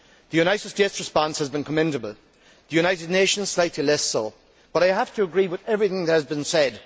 The United States' response has been commendable, the United Nations' slightly less so, but I have to agree with everything that has been said.